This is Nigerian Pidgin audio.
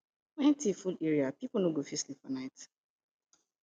when thief full area pipo no go fit sleep well for night